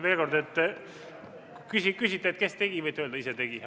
Kui te küsite, et kes tegi, siis võite öelda: "Ise tegi."